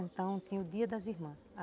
Então tinha o dia das irmãs.